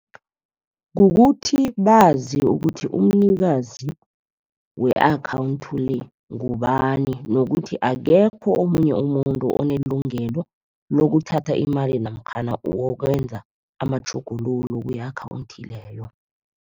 Kukuthi bazi ukuthi umnikazi we-akhawunthi le, ngubani. Nokuthi akekho omunye umuntu onelungelo lokuthatha imali namkhana wokwenza amatjhuguluko ku-akhawunthi leyo.